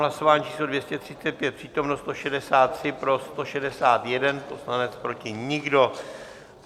Hlasování číslo 235, přítomno 163, pro 161 poslanec, proti nikdo.